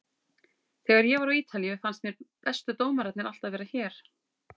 Þegar ég var á Ítalíu fannst mér bestu dómararnir alltaf vera hér.